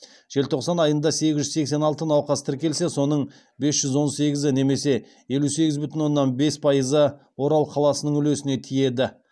желтоқсан айында сегіз жүз сексен алты науқас тіркелсе соның бес жүз он сегізі немесе елу сегіз бүтін оннан бес пайызы орал қаласының үлесіне тиеді